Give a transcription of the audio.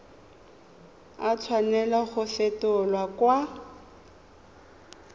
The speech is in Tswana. a tshwanela go fetolwa kwa